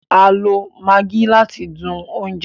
A lo Maggie láti dùn oúnjẹ